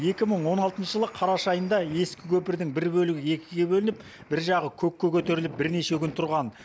екі мың он алтыншы жылы қараша айында ескі көпірдің бір бөлігі екіге бөлініп бір жағы көкке көтеріліп бірнеше күн тұрған